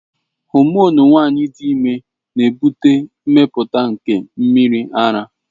Homonu nwanyị dị ime na-ebute mmepụta nke mmiri ara.